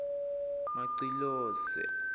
macilose